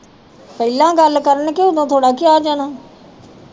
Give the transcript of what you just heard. ਪਹਿਲਾ ਗੱਲ ਕਰਨ ਕੇ ਓਦੋ ਥੋੜਾ ਕਿਹਾ ਜਾਣਾ